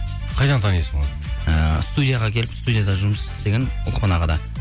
қайдан танисың оны ыыы студияға келіп студияда жұмыс істеген ұлықпан ағада